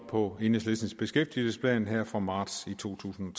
på enhedslistens beskæftigelsesplan her fra marts to tusind